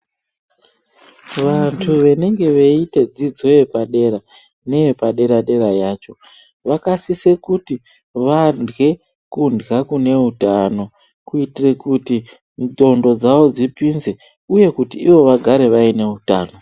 Vantu vanenge veyiite dzidzo yepadera neyepadera dera yacho vakasisa kuti varwe kurwa kune utano kuitira kuti nxcondo dzawo dzipinze uye kuti ivo vagare vaine utano.